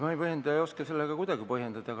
Ma ei põhjenda ega oska seda kuidagi põhjendada.